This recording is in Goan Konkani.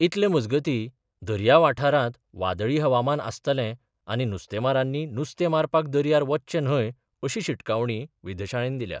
इतले मजगतीं, दर्या वाठारांत वादळी हवामान आसतलें आनी नुस्तेमारांनी नुस्तें मारपाक दर्यार वच्चें न्हय अशी शिटकावणी वेधशाळेन दिल्या.